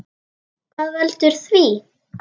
Hvað veldur því?